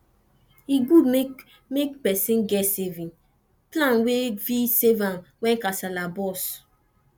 e good make make persin get saving plan wey go fit save am when kasala burst